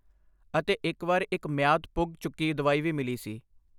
ਅਤੇ ਇੱਕ ਵਾਰ ਇੱਕ ਮਿਆਦ ਪੁੱਗ ਚੁੱਕੀ ਦਵਾਈ ਵੀ ਮਿਲੀ ਸੀ।